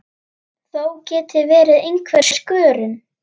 Þó geti verið einhver skörun.